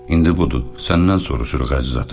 İndi budur, səndən soruşuruq əziz ata.